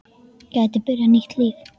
Geti byrjað nýtt líf.